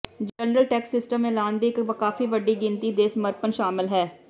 general tax system ਐਲਾਨ ਦੀ ਇੱਕ ਕਾਫ਼ੀ ਵੱਡੀ ਗਿਣਤੀ ਦੇ ਸਮਰਪਣ ਸ਼ਾਮਲ ਹੈ